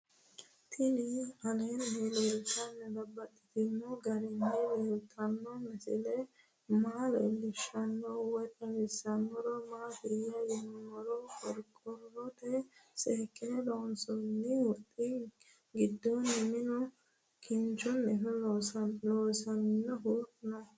Tinni aleenni leelittannotti babaxxittinno garinni leelittanno misile maa leelishshanno woy xawisannori maattiya yinummoro qoriqorotte seekkinne loonsoonni huxxi gidoonni minu kinchchunni loonsoonnihu noo